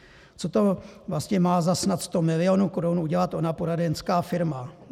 Co to vlastně má za snad 100 milionů korun udělat ona poradenská firma?